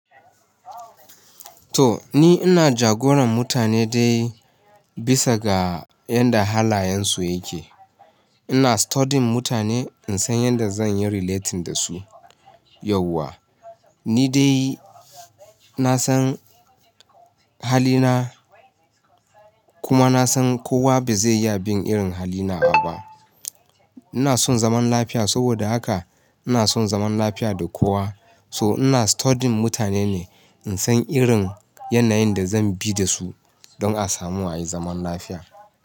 To ni ina jagoran mutane dai bisa ga yanda halayensu yake. Ina studying mutane in san yanda zan yi relating da su yauwa. Ni dai na san halina kuma na san kowa ba zai iya bin irin hali nawa ba. Ina son zaman lafiya saboda haka ina son zaman lafiya da kowa. So ina studying mutane ne in san irin yanayin da zan bi da su don a samu a yi zaman lafiya.